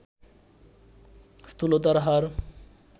স্থূলতার হার